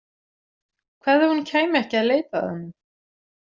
Hvað ef hún kæmi ekki að leita að honum?